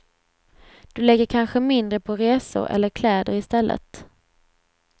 Du lägger kanske mindre på resor eller kläder i stället.